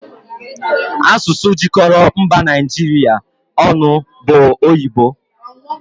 Asụsụ jikọrọ mba Naijiria ọnụ bụ oyibo